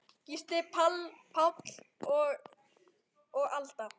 Gísli Páll og Alda.